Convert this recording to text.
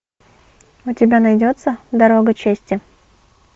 у тебя найдется дорога чести